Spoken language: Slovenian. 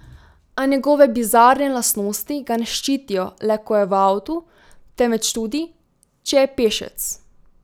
A njegove bizarne lastnosti ga ne ščitijo le, ko je v avtu, temveč tudi, če je pešec.